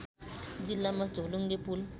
जिल्लामा झोलुङ्गे पुल